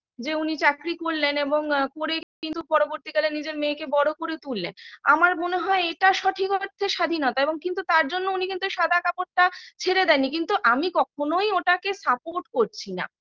যে উনি চাকরি করলেন এবং করে কিন্তু পরবর্তীকালে নিজের মেয়েকে বড়ো করে তুললেন আমার মনে হয় এটা সঠিক অর্থে স্বাধীনতা এবং কিন্তু তার জন্য উনি কিন্তু সাদা কাপড়টা ছেড়ে দেননি কিন্তু আমি কখনোই ওটাকে support করছি না